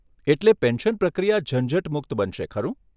એટલે પેન્શન પ્રક્રિયા ઝંઝટમુક્ત બનશે ખરું?